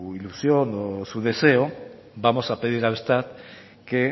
ilusión o su deseo vamos a pedir a eustat que